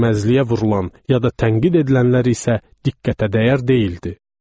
Görməzliyə vurulan ya da tənqid edilənlər isə diqqətə dəyər deyildi.